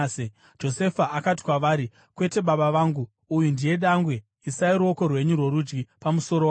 Josefa akati kwavari, “Kwete, baba vangu, uyu ndiye dangwe; isai ruoko rwenyu rworudyi pamusoro wake.”